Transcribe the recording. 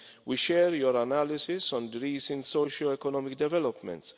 We share your analysis of recent socioeconomic developments.